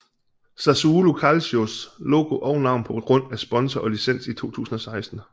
Sassuolo Calcios logo og navn på grund af sponsor og licens i 2016